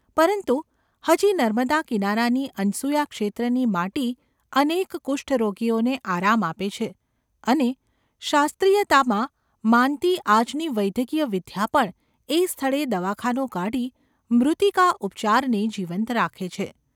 પરંતુ હજી નર્મદા કિનારાની અનસૂયા ક્ષેત્રની માટી અનેક કુષ્ઠરોગીઓને આરામ આપે છે અને શાસ્ત્રીયતામાં માનતી આજની વૈદકીય વિદ્યા પણ એ સ્થળે દવાખાનું કાઢી મૃત્તિકા ઉપચારને જીવંત રાખે છે.